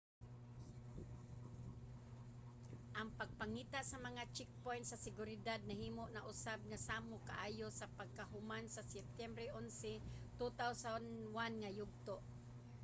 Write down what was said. ang pagpangita sa mga checkpoint sa seguridad nahimo na usab nga samok kaayo sa pagkahuman sa septyembre 11,2001 nga yugto